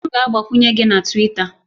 M ga-agbakwunye gị na Twita